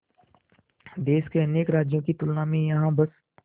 देश के अनेक राज्यों की तुलना में यहाँ बस